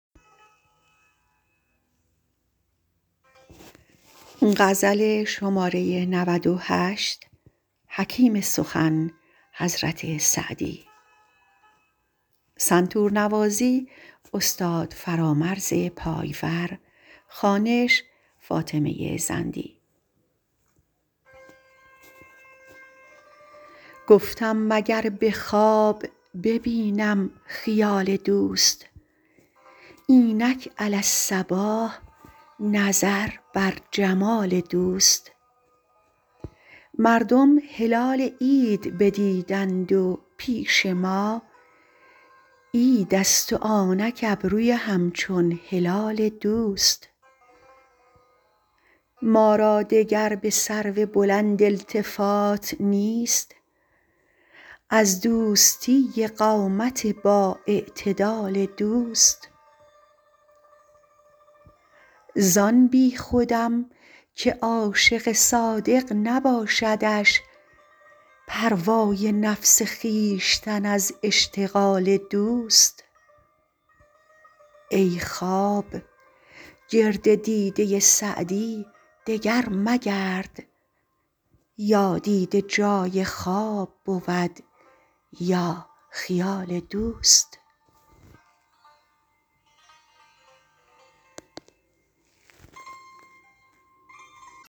گفتم مگر به خواب ببینم خیال دوست اینک علی الصباح نظر بر جمال دوست مردم هلال عید ندیدند و پیش ما عیدست و آنک ابروی همچون هلال دوست ما را دگر به سرو بلند التفات نیست از دوستی قامت بااعتدال دوست زان بیخودم که عاشق صادق نباشدش پروای نفس خویشتن از اشتغال دوست ای خواب گرد دیده سعدی دگر مگرد یا دیده جای خواب بود یا خیال دوست